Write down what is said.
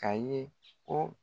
Ka ye ko